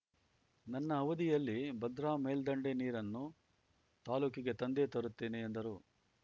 ನನ್ನ ಅವಧಿಯಲ್ಲಿ ಭದ್ರಾ ಮೇಲ್ದಂಡೆ ನೀರನ್ನು ತಾಲೂಕಿಗೆ ತಂದೇ ತರುತ್ತೇನೆ ಎಂದರು